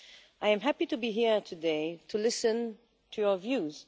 I am happy to be here today to listen to your views.